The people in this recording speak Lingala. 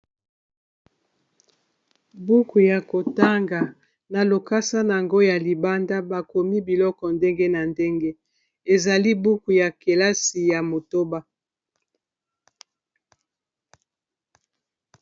buku ya kotanga na lokasa na yango ya libanda bakomi biloko ndenge na ndenge ezali buku ya kelasi ya motoba